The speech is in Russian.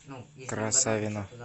красавино